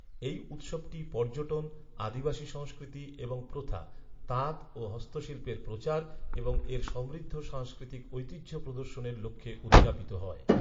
এই উৎসবটি পর্যটন, আদিবাসী সংস্কৃতি এবং প্রথা, তাঁত ও হস্তশিল্পের প্রচার এবং এর সমৃদ্ধ সাংস্কৃতিক ঐতিহ্য প্রদর্শনের লক্ষ্যে উদযাপিত হয়।